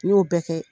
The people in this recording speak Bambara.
N y'o bɛɛ kɛ